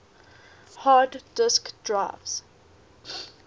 hard disk drives